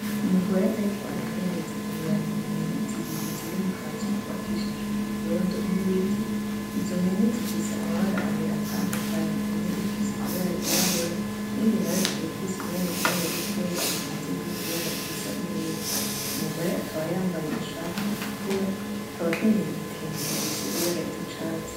Umugore ariko arahereza ibibabi impene zibiri ziri mu kazu kubakijwe ivyondo n’ibiti. Izo mpene zifise amabara abiri atandukanye. Imwe ifise ibara ryirabura iyindi nayo ikaba ifise ibara ryirabura rikeya rivanze n’irindi bara risa n’ivu , umugore akaba yambaye ishati itukura , akaba akenyeye igitenge gifise ibara ry’icatsi.